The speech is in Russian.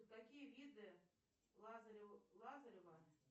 какие виды лазарева